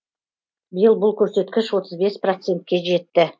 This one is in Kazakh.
биыл бұл көрсеткіш отыз бес процентке жетті